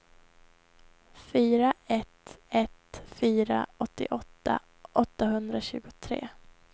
fyra ett ett fyra åttioåtta åttahundratjugotre